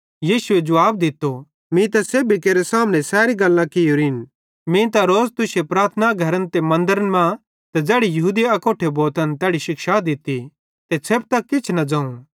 यीशुए जुवाब दित्तो मीं त सेब्भी केरे सामने सैरी गल्लां कियोरिन मीं त रोज़ तुश्शे प्रार्थना घरन ते मन्दरे मां ते ज़ैड़ी यहूदी अकोट्ठे भोतन तैड़ी शिक्षा दित्ती ते छ़ेपतां किछ भी न ज़ोवं